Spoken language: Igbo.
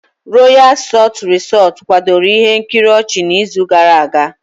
Royal salt Resort kwadoro ihe nkiri nke ochi n'izu gara aga.